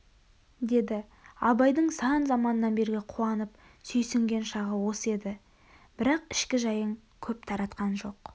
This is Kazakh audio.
деді абайдың сан заманнан бергі қуанып сүйсінген шағы осы еді бірақ ішкі жайын көп таратқан жоқ